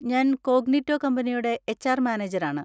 ഞാൻ കോഗ്നിറ്റോ കമ്പനിയുടെ എച്.ആര്‍. മാനേജരാണ്.